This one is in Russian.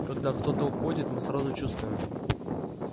когда кто-то уходит мы сразу чувствуем